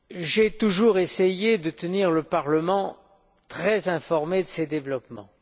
J'ai toujours essayé de tenir le Parlement informé de ces développements.